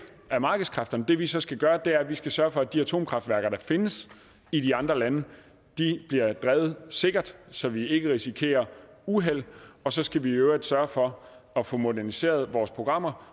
af markedskræfterne det vi så skal gøre er at vi skal sørge for at de atomkraftværker der findes i de andre lande bliver drevet sikkert så vi ikke risikerer uheld og så skal vi i øvrigt sørge for at få moderniseret vores programmer